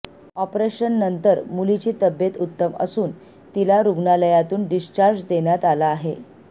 ऑपरेशननंतर मुलीची तब्येत उत्तम असून तिला रुग्णालयातून डिस्चार्ज देण्यात आला आहे